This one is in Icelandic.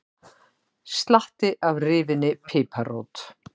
Slatti af rifinni piparrót